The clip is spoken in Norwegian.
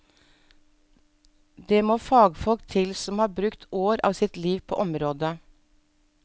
Det må fagfolk til som har brukt år av sitt liv på området.